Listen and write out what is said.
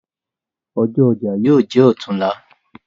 Ọjọ̀ ọjà yóò jẹ́ ọ̀tunla.